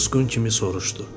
O susqun kimi soruşdu.